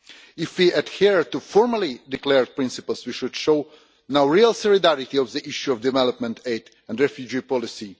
If we adhere to formally declared principles we should show now real solidarity on the issue of development aid and refugee policy.